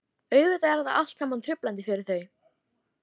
Auðvitað er þetta allt saman truflandi fyrir þau.